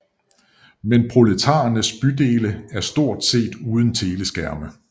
Men proletarernes bydele er stort set uden teleskærme